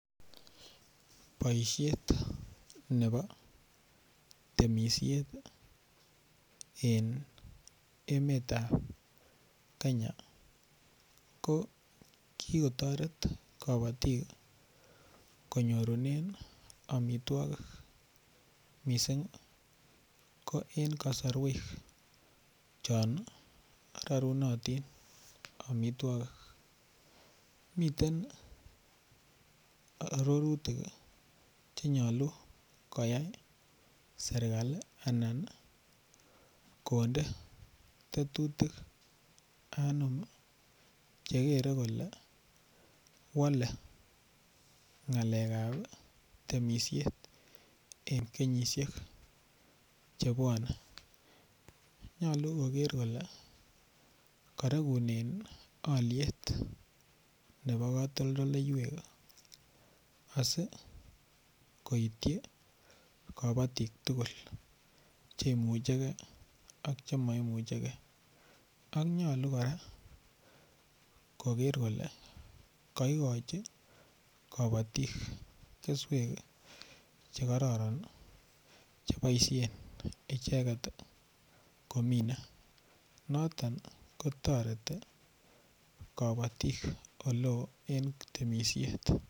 Boisiet nebo temisiet en emetab Kenya ko ki kotoret kabatik konyorunen amitwogik mising ko en kasarwek chon rorunotin amitwogik miten arorutik Che nyolu koyai serkali anan konde tetutik anum chekere kole wole ngalekab ab temisiet en kenyisiek chebwone nyolu koger kole koregunen alyet nebo katoldoleywek asi koityi kabatik tugul Che imuchege ak Che mo imuche ge ak nyolu kora koger kole kogochi kabatik keswek Che kororon Che boisien kominsen noton ko toreti kabatik oleo en temisiet